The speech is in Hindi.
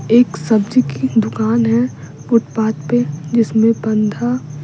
एक सब्जी की दुकान है फुटपाथ पे जिसमें बंधा --